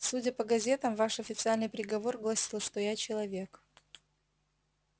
судя по газетам ваш официальный приговор гласил что я человек